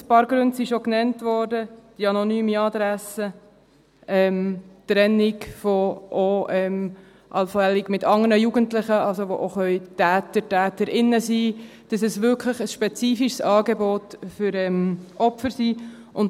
– Ein paar Gründe wurden schon genannt: die anonyme Adresse, die allfällige Trennung von anderen Jugendlichen, die auch Täter, Täterinnen sein können, damit es wirklich ein spezifisches Angebot für Opfer ist.